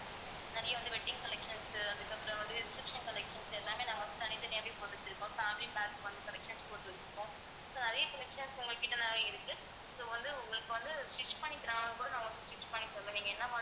நிறைய வந்து wedding collections அதுக்கப்புறம் வந்து receptions collections எல்லாமே நாங்க வந்து தனித்தனியாவே போட்டு வச்சிருக்கோம் family pack வந்து collections போட்டு வச்சிருக்கோம் so நிறைய collections உங்க கிட்ட நிறைய இருக்கு so வந்து உங்களுக்கு வந்து stitch பண்ணி நாங்க வந்து stitch பண்ணி தருவோம் நீங்க என்ன